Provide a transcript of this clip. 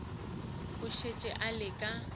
e šetše e le ka